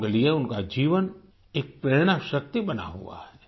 लोगों के लिए उनका जीवन एक प्रेरणा शक्ति बना हुआ है